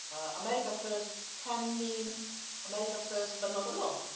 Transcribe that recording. America First can mean America first but not alone.